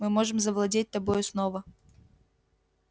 мы можем завладеть тобою снова